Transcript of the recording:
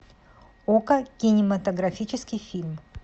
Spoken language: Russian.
окко кинематографический фильм